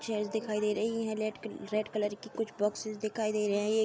Chairs दिखाई दे रही हैं। रेड कलर की कुछ बॉक्सेस दिखाई दे रही हैं।